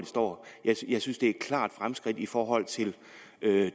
står jeg synes det er et klart fremskridt i forhold til